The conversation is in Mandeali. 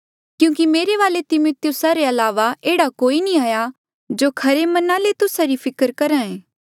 क्यूंकि मेरे वाले तिमिथियुस रे अलावा एह्ड़ा कोई नी हाया जो खरे मना ले तुस्सा री फिकर करहे